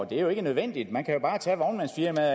det er ikke nødvendigt man kan jo bare tage vognmandsfirmaet